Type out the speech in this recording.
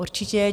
Určitě.